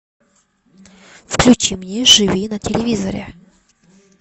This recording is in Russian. включи мне живи на телевизоре